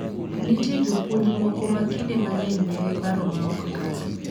Nitie jopuonj moko ma kinde mang'eny nigi paro maok kare.